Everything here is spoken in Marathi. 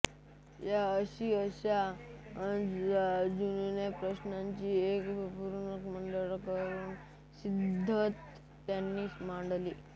या आणि अशा जून्याच प्रश्नांची एक संपूर्णपणे नवीन मांडणी करून नवीन सिद्धांत त्यांनी मांडले